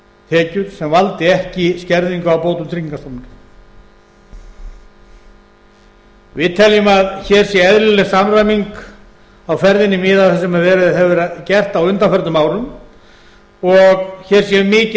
tekjur sem valdi ekki skerðingu á bótum tryggingastofnunar við tekjum að hér sé eðlileg samræming á ferðinni miðað við það sem víða hefur gerst á undanförnum árum og hér sé um mikið